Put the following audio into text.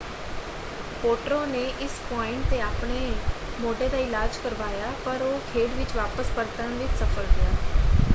ਪੋਟ੍ਰੋ ਨੇ ਇਸ ਪੁਆਇੰਟ 'ਤੇ ਆਪਣੇ ਮੋਢੇ ਦਾ ਇਲਾਜ ਕਰਵਾਇਆ ਪਰ ਉਹ ਖੇਡ ਵਿੱਚ ਵਾਪਸ ਪਰਤਣ ਵਿੱਚ ਸਫ਼ਲ ਰਿਹਾ।